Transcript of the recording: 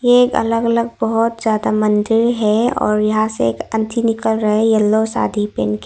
एक अलग अलग बहोत ज्यादा मंदिर है और यहाँ से एक आंटी निकल रही येलो साड़ी पेन के।--